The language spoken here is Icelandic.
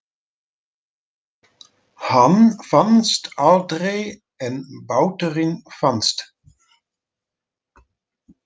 Hann fannst aldrei en báturinn fannst.